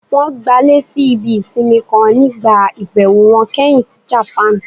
Wọn gbalé sí ibí isínmì kan nígbá ibẹwo wọn kẹhin si Japan.